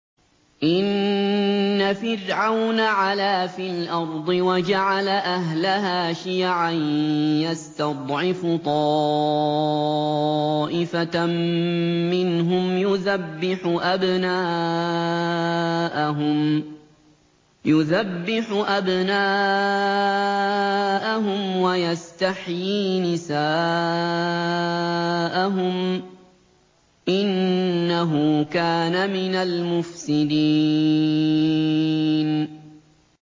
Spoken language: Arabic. إِنَّ فِرْعَوْنَ عَلَا فِي الْأَرْضِ وَجَعَلَ أَهْلَهَا شِيَعًا يَسْتَضْعِفُ طَائِفَةً مِّنْهُمْ يُذَبِّحُ أَبْنَاءَهُمْ وَيَسْتَحْيِي نِسَاءَهُمْ ۚ إِنَّهُ كَانَ مِنَ الْمُفْسِدِينَ